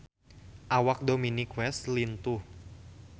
Awak Dominic West lintuh